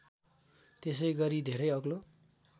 त्यसैगरी धेरै अग्लो